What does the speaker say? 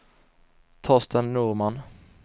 Torsten Norman